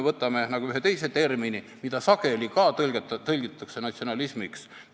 Võtame ühe teise termini, mida sageli ka tõlkes nimetatakse natsionalismiks.